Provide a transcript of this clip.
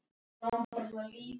En allt fór á sama veg.